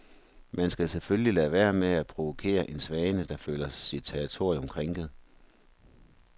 Man skal selvfølgelig lade være med at provokere en svane, der føler sit territorium krænket.